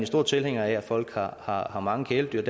stor tilhænger af at folk har har mange kæledyr